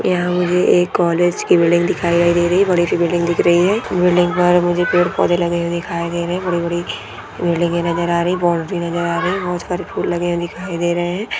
यहाँ मुझे एक कॉलेज की बिल्डिंग दिखाई दे रही कॉलेज की बिल्डिंग दिख रही हैं बिल्डिंग पर मुझे प्युर पौधे लगे हुये दिखाई दे रहे हैं बड़ि बड़ि बिल्डिंगे ये नजर आ रही बॉउंड्री नजर आ रही बहुत सारे फूल लगे हुए दिखाई दे रहे हैं।